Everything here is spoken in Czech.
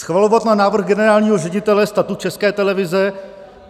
schvalovat na návrh generálního ředitele Statut České televize;